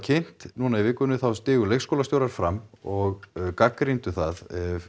núna í vikunni stigu leikskólastjórar fram og gagnrýndu það